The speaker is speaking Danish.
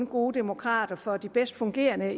gode demokrater for de bedst fungerende